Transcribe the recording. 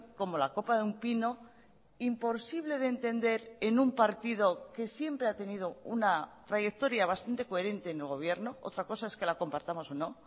como la copa de un pino imposible de entender en un partido que siempre ha tenido una trayectoria bastante coherente en el gobierno otra cosa es que la compartamos o no